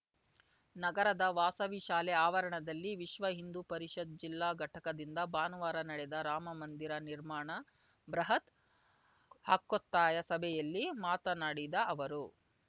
ನಗರದ ವಾಸವಿ ಶಾಲೆ ಆವರಣದಲ್ಲಿ ವಿಶ್ವ ಹಿಂದು ಪರಿಷತ್‌ ಜಿಲ್ಲಾಘಟಕದಿಂದ ಭಾನುವಾರ ನಡೆದ ರಾಮಮಂದಿರ ನಿರ್ಮಾಣ ಬೃಹತ್‌ ಹಕ್ಕೊತ್ತಾಯ ಸಭೆಯಲ್ಲಿ ಮಾತನಾಡಿದ ಅವರು